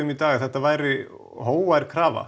í dag að þetta væri hógvær krafa